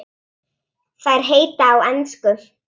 Þær heita á ensku